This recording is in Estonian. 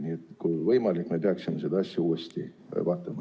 Nii et kui võimalik, me peaksime seda asja uuesti vaatama.